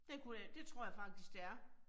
Det kunne jeg, det tror jeg faktisk det er